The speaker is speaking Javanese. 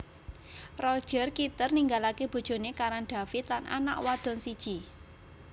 Roger Kitter ninggalaké bojoné Karan David lan anak wadon siji